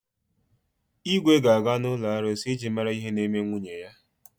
Igwe ga-aga n’ụlọ arụsị iji mara ihe na-eme nwunye ya.